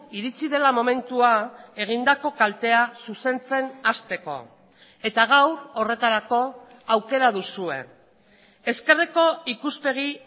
iritsi dela momentua egindako kaltea zuzentzen hasteko eta gaur horretarako aukera duzue ezkerreko ikuspegi